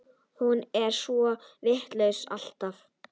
Hún er svo vitlaus alltaf.